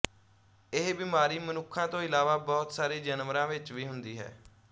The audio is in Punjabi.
ਇਹ ਬਿਮਾਰੀ ਮਨੁੱਖਾਂ ਤੋਂ ਇਲਾਵਾ ਬਹੁਤ ਸਾਰੇ ਜਾਨਵਰਾਂ ਵਿੱਚ ਵੀ ਹੁੰਦੀ ਹੈ